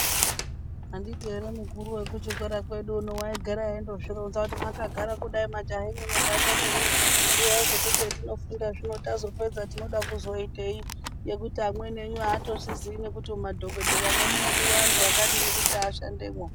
Anditi ere mukuru wekuchikora kwedu waigara eindozvironza kuti mwakagara kudai majaha mwe nemhandara mwi ziyai kuti zvemunofunda zvino munoda kuzoitei ngekuti amweni enyu atozviziyi nekuti muma dhokodhera mwo munodiwa antu akadini kuti ashande mwo.